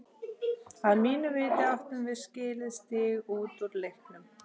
Að mínu viti áttum við skilið stig út úr leiknum.